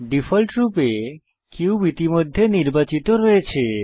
ডিফল্টরূপে কিউব ইতিমধ্যে নির্বাচিত রয়েছে